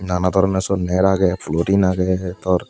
nana doronor syot ner agey plottin agey twr.